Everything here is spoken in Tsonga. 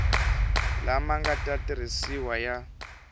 lama nga ta tirhisiwa ya